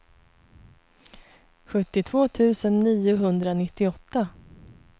sjuttiotvå tusen niohundranittioåtta